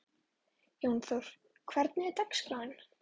Jónþór, hvernig er dagskráin?